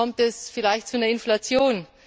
Kommt es vielleicht zu einer Inflation?